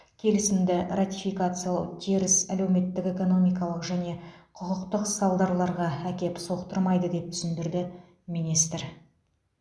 келісімді ратификациялау теріс әлеуметтік экономикалық және құқықтық салдарларға әкеп соқтырмайды деп түсіндірді министр